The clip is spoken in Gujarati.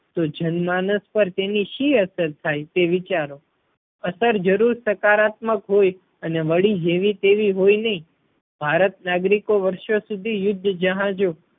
તો જન માનસ પાર તેની શી અસર થાય તે વિચારો. અસર જરૂર સકારાત્મક હોય અને વળી જેવી તેવી હોય નહીં. ભારત નાગરિકો વર્ષો સુધી યુદ્ધ જહાજો